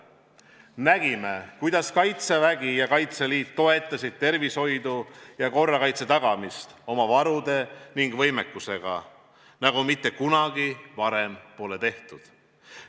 Nägime, kuidas Kaitsevägi ja Kaitseliit toetasid tervishoidu ja korrakaitse tagamist oma varude ning võimekusega, nagu mitte kunagi varem pole tehtud.